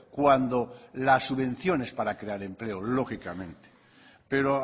cuando las subvenciones para crear empleo lógicamente pero